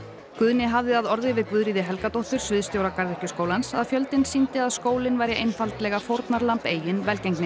Guðni hafði að orði við Guðríði Helgadóttur sviðsstjóra Garðyrkjuskólans að fjöldinn sýndi að skólinn væri einfaldlega fórnarlamb eigin velgengni